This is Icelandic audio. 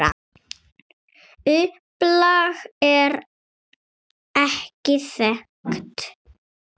Upplag er ekki þekkt.